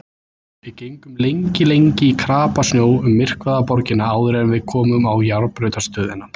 Við gengum lengi lengi í krapasnjó um myrkvaða borgina áður en við komum á járnbrautarstöðina.